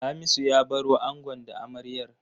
Hamisu ya baro angon da amaryar.